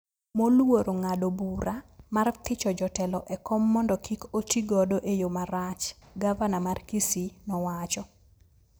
moluoro ng’ado bura mar thicho jotelo e kom mondo kik otigodo e yo marach, gavana mar Kisii nowacho.